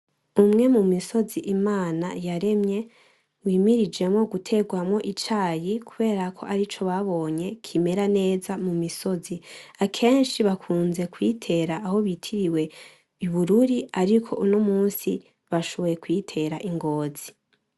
Umwe mu misozi Imana yaremye wimirijemwo gutegwamwo icayi kubera ko ari co babonye kimera neza mu misozi, akenshi bakunze kuyitera aho bitiriwe i Bururi ariko uno munsi bashoboye kuyitera ingozi.